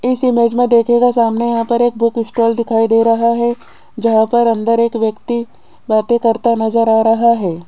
इस इमेज में देखिएगा सामने यहां पर एक बुक स्टॉल दिखाई दे रहा है जहां पर अंदर एक व्यक्ति बातें करता नजर आ रहा है।